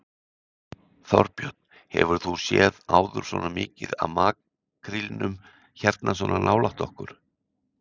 Þorbjörn: Hefur þú séð áður svona mikið af makrílnum hérna svona nálægt okkur?